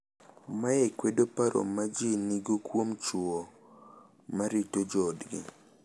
Mae kwedo paro ma ji nigo kuom chwo ma rito joodgi